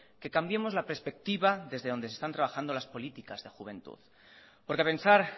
que cambiemos la perspectiva desde donde se están trabajando las políticas de juventud porque pensar